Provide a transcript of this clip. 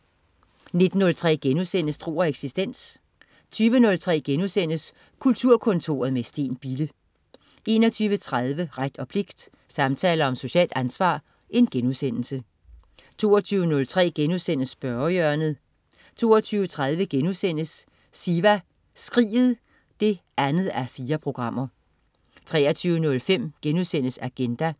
19.03 Tro og eksistens* 20.03 Kulturkontoret med Steen Bille* 21.30 Ret og pligt. Samtaler om socialt ansvar* 22.03 Spørgehjørnet* 22.30 Siva Skriget 2:4* 23.05 Agenda*